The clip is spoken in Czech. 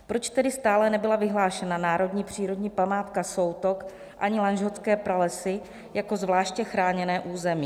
Proč tedy stále nebyla vyhlášena národní přírodní památka Soutok ani Lanžhotské pralesy jako zvláště chráněné území?